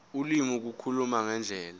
ulimi ukukhuluma ngendlela